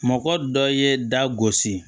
Mɔgɔ dɔ ye da gosi